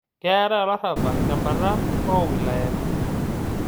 Keetai olarrabal te mbata oo wilayani